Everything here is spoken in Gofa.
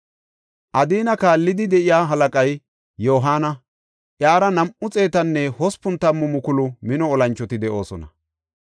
Adina kaallidi de7iya halaqay Yohaana; iyara nam7u xeetanne hospun tammu mukulu mino olanchoti de7oosona.